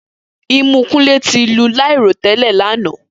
Imu wa fun mimi ati õrùn.